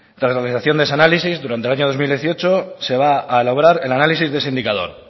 tras la realización de ese análisis durante el año dos mil dieciocho se va a lograr el análisis de ese indicador